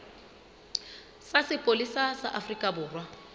sa sepolesa sa afrika borwa